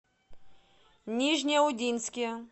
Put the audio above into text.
нижнеудинске